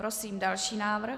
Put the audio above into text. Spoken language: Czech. Prosím další návrh.